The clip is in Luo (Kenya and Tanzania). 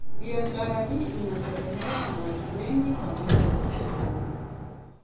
biashara hii inategemewa na watu wengi pamoja na wazazi wangu